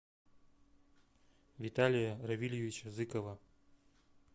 виталия равильевича зыкова